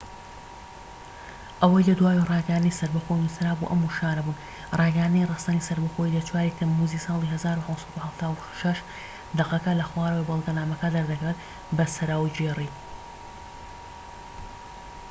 ئەوەی لە دواوەی ڕاگەیاندنی سەربەخۆیی نووسرا بوو ئەم وشانە بوون ڕاگەیاندنی ڕەسەنی سەربەخۆیی لە 4ی تەمموزی ساڵی 1776 دەقەکە لە خوارەوەی بەڵگەنامەکە دەردەکەوێت بە سەراوگێری